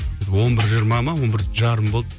біз он бір жиырма ма он бір жарым болды